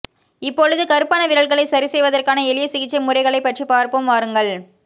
இப்பொழுது கருப்பான விரல்களை சரி செய்வதற்கான எளிய சிகிச்சை முறைகளைப் பற்றி பார்ப்போம் வாருங்கள்